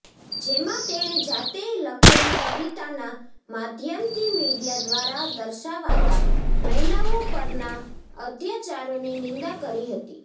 જેમાં તેણે જાતે લખેલી કવિતાના માધ્યમથી મિડીયા દ્વારા દર્શાવાતા મહિલાઓ પરના અત્ચારોની નિંદા કરી હતી